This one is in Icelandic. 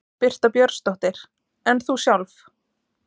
Birta Björnsdóttir: En þú sjálf?